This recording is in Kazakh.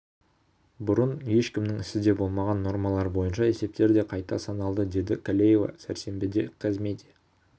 бұрын ешкімнің ісі де болмаған нормалар бойынша есептер де қайта саналды деді калеева сәрсенбіде қазмедиа